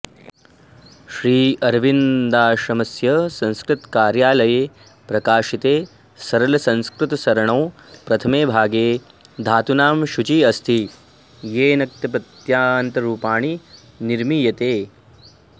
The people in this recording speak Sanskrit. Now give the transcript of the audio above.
श्रीअरविन्दाश्रमस्य संस्कृतकार्यालये प्रकाशिते सरलसंस्कृतसरणौ प्रथमे भागे धातूनां सूची अस्ति येन क्तप्रत्ययान्तरूपाणि निर्मीयते